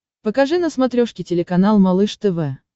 покажи на смотрешке телеканал малыш тв